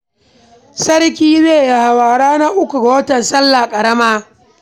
Sarki zai yi hawa ranar uku ga watan sallah ƙarama